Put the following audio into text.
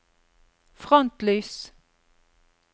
frontlys